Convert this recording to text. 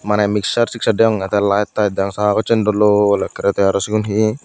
maneh mixer tixer deyongey tey light tight degong sagossen dol dol ekkerey tey aro sigun he.